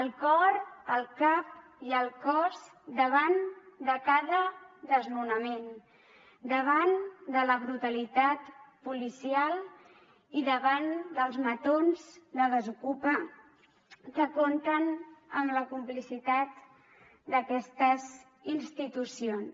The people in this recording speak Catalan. el cor el cap i el cos davant de cada desnonament davant de la brutalitat policial i davant dels matons de desokupa que compten amb la complicitat d’aquestes institucions